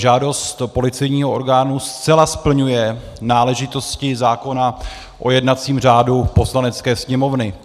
Žádost policejního orgánu zcela splňuje náležitosti zákona o jednacím řádu Poslanecké sněmovny.